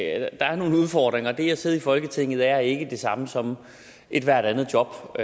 er nogle udfordringer det at sidde i folketinget er ikke det samme som ethvert andet job